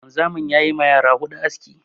Wanzamin ya yi ma yara huɗu aski.